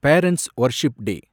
parents' worship day